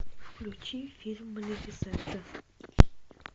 включи фильм малефисента